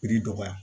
dɔgɔya